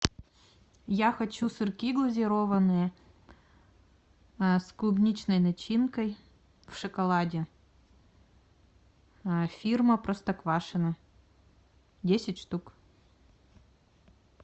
я хочу сырки глазированные с клубничной начинкой в шоколаде фирма простоквашино десять штук